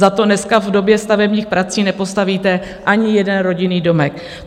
Za to dneska v době stavebních prací nepostavíte ani jeden rodinný domek.